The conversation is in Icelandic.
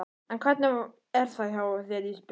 En hvernig er það hjá þér Ísbjörg?